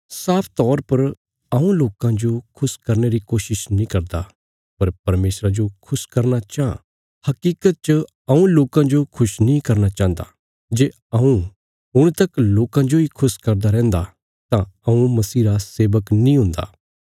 साफ तौर पर हऊँ लोकां जो खुश करने री कोशिश नीं करदा पर परमेशरा जो खुश करना चाँह हकीकत च हऊँ लोकां जो खुश नीं करना चाहन्दा जे हऊँ हुण तक लोकां जोई खुश करदा रैहन्दा तां हऊँ मसीह रा सेवक नीं हुन्दा